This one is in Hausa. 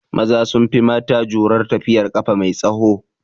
Maza sun fi mata jurar tafiyar ƙafa mai tsaho